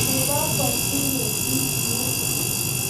nepo posiget ingiro?